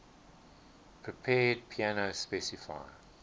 prepared piano specify